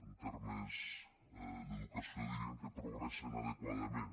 en termes d’educació diríem que progressen adequadament